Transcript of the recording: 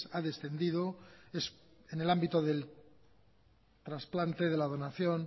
ha descendido es en el ámbito del transplante de la donación